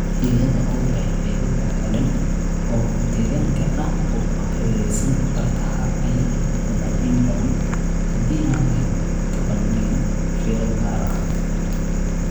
Iyada oo leh qaybo balaadhan oo deegaanka ah oo ku hareeraysan bartaha ayaa mudan in badan, haddii aanay ka badnayn, fiiro gaar ah .